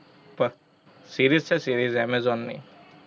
પર, series છે series amazon ની